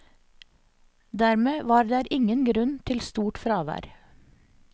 Dermed var der ingen grunn til stort fravær.